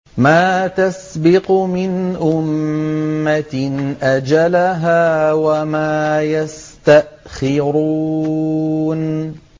مَا تَسْبِقُ مِنْ أُمَّةٍ أَجَلَهَا وَمَا يَسْتَأْخِرُونَ